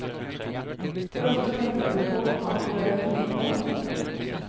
Hvor ofte tenker du på at du er en kvinne på jobb?